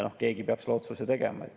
Keegi peab selle otsuse tegema.